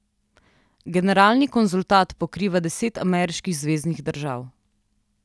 Generalni konzulat pokriva deset ameriških zveznih držav.